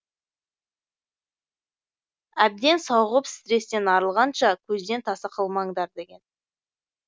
әбден сауығып стрестен арылғанша көзден таса қылмаңдар деген